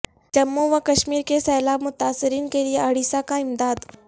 جموں و کشمیر کے سیلاب متاثرین کے لئے اڑیسہ کا امداد